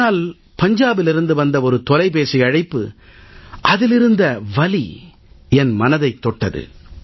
ஆனால் பஞ்சாபிலிருந்து வந்த ஒரு தொலைபேசி அழைப்பு அதிலிருந்த வலி என் மனதைத் தொட்டது